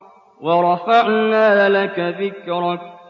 وَرَفَعْنَا لَكَ ذِكْرَكَ